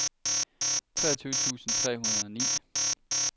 treogtyve tusind tre hundrede og ni